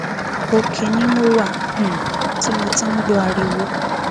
òkè ni mo wà um tí mo ti ń gbọ ariwo